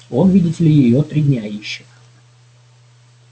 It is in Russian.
он видите ли её три дня ищет